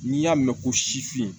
N'i y'a mɛn ko sifin